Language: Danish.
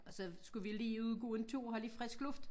Og så skulle vi lige ud og gå en tur og have lidt frisk luft